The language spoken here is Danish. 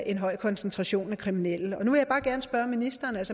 en høj koncentration af kriminelle så vil jeg bare gerne spørge ministeren